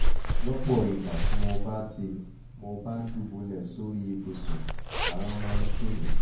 lọ́pọ̀ ìgbà tí mo bá tí mo bá dùbúlẹ̀ sórí ibùsùn ara máa ń tù mí